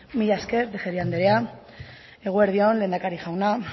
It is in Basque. mila esker tejeria andrea eguerdi on lehendakari jauna